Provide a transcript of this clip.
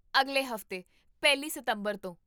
ਅਗਲੇ ਹਫ਼ਤੇ, ਪਹਿਲੀ ਸਤੰਬਰ ਤੋਂ